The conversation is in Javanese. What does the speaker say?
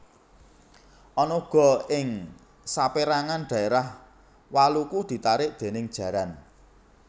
Ana uga ing sapérangan dhaérah waluku ditarik déning jaran